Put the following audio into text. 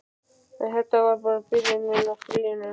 En þetta var bara byrjunin á stríðinu.